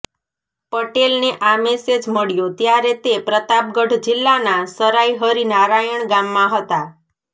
પટેલને આ મેસેજ મળ્યો ત્યારે તે પ્રતાપગઢ જિલ્લાના સરાઇ હરી નારાયણ ગામમાં હતા